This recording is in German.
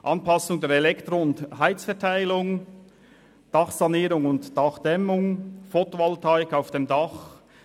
Anpassung der Elektro- und Heizverteilung, Dachsanierung und -dämmung, Fotovoltaik auf dem Dach.